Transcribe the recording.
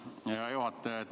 Hea juhataja!